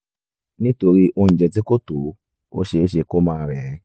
nítorí oúnjẹ tí kò tó ó ṣeé ṣe kí ó máa rẹ̀ ẹ́